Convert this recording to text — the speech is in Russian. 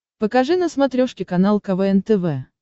покажи на смотрешке канал квн тв